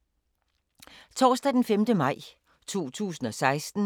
Torsdag d. 5. maj 2016